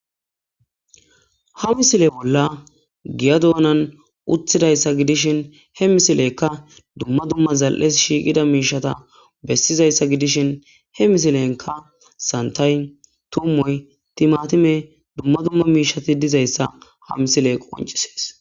ha misile bollani giya donnani utidayisa gidishin he misileyika duma duma zaliesi shiqida mishata besizayis gidishini he misilenika sanithayi tumoyi timatimeyi duma mishati dizayisa ha misileyi qoncisesi